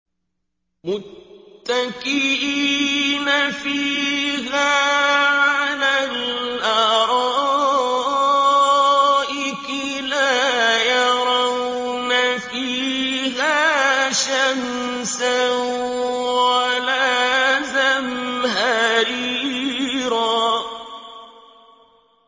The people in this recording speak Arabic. مُّتَّكِئِينَ فِيهَا عَلَى الْأَرَائِكِ ۖ لَا يَرَوْنَ فِيهَا شَمْسًا وَلَا زَمْهَرِيرًا